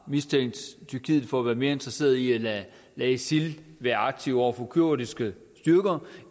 mistænkte tyrkiet for at være mere interesseret i at lade isil være aktiv over for kurdiske styrker